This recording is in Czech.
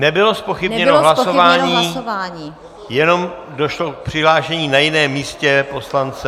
Nebylo zpochybněno hlasování, jenom došlo k přihlášení na jiném místě poslance.